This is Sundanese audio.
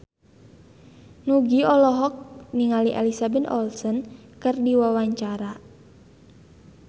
Nugie olohok ningali Elizabeth Olsen keur diwawancara